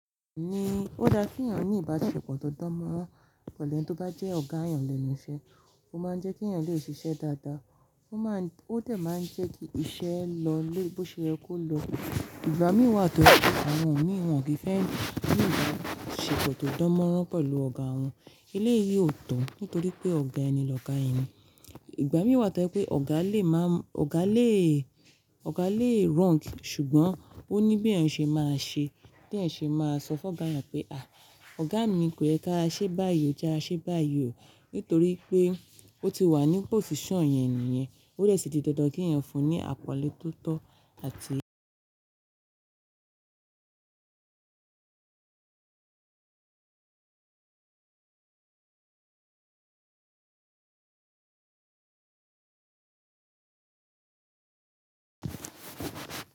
Ó da kí èèyàn ní ìbáṣepọ̀ tó dánmọ́rán pẹ̀lú ẹni tó bá jẹ́ ọ̀gá èèyàn lẹ́nu iṣẹ́, ó máa ń jẹ́ kí èèyàn lè ṣiṣẹ́ dáadáa, ó dẹ̀ máa ń jẹ́ kí iṣẹ́ lọ bó ṣe yẹ kò lọ. Ìgbà mìí wa tọ́ je pé àwọn ẹ̀yàn mii won o ki n fẹ́ ní ìbáṣepọ̀ tó dánmọ́rán pẹ̀lú ọ̀gá wọn, eléyìí ò tọ̀ nítorí pé ọ̀gá ẹ ni lọ́ga ẹni. Ìgbà mìíràn tọ́ pé ọ̀gá lè wrong ṣùgbọ́n ó ní bí èèyàn ṣe máa ṣe, bí èèyàn ṣe máa sọ fún ọ̀gá yẹn pé "à, ọ̀gá mi kò yẹ kí a ṣe báyìí, e ji a ṣe báyìí o" nítorí pé ó ti wà ní position yen nìyẹn, ó dè sì di dandan kí èèyàn fún un ní àpọ̀nlé tó tọ́ àti.